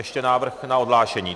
Ještě návrh na odhlášení.